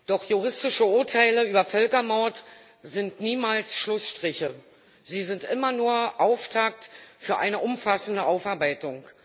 Doch juristische Urteile über Völkermord sind niemals Schlussstriche, sie sind immer nur Auftakt für eine umfassende Aufarbeitung.